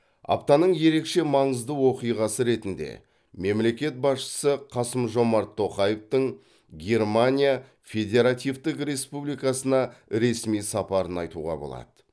аптаның ерекше маңызды оқиғасы ретінде мемлекет басшысы қасым жомарт тоқаевтың германия федеративтік республикасына ресми сапарын айтуға болады